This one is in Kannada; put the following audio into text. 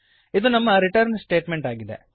ಇದು ನಮ್ಮ ರಿಟರ್ನ್ ಸ್ಟೇಟಮೆಂಟ್ ಆಗಿದೆ